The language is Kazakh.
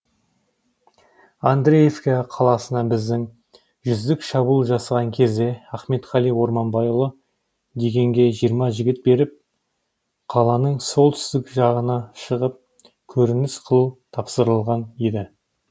андреевка қаласына біздің жүздік шабуыл жасаған кезде ахметқали орманбайұлы дегенге жиырма жігіт беріп қаланың солтүстік жағына шығып көрініс қылу тапсырылған еді